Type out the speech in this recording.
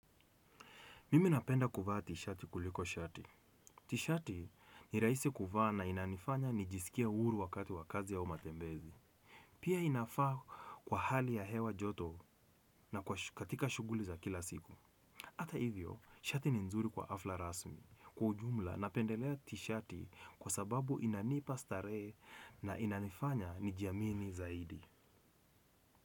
Mimi napenda kuvaa t-shati kuliko shati. T-shati ni rahisi kuvaa na inanifanya nijisikie uhuru wakati wa kazi au matembezi. Pia inafaa kwa hali ya hewa joto na katika shughuli za kila siku. Hata hivyo, shati ni nzuri kwa hafla rasmi. Kwa ujumla, napendelea t-shati kwa sababu inanipa starehe na inanifanya nijiamini zaidi.